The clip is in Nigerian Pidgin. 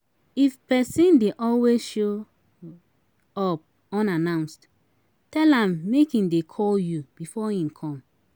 If person de always show up unannounced, tell am make im de call you before im come